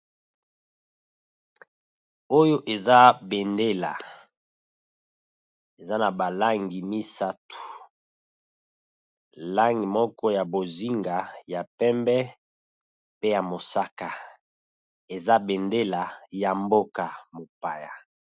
Oyo eza bendela , eza na ba langi misato , langi moko ya bozinga, ya pembe pe ya mosaka. Eza bendela ya mboka mopaya .